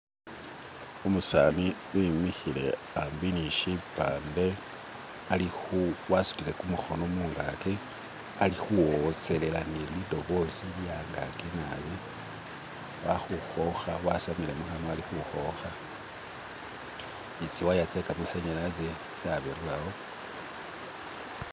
u'musani i'mihile a'mbi nishi'pande a'likhu wa'sutile ku'mukhono angaki ali ni khu'wotselela nili'dobozi lye'yangaki naabi a'li khu'khokha wa'samile mu'hanywa a'likhukhokha ni tsi waya-tse-kama'sanyalazi tsa'bilirawo